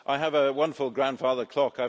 I have a wonderful grandfather clock.